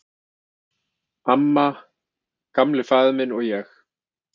"""Amma, Gamli faðir minn, og ég."""